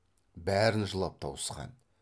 бәрін жылап тауысқан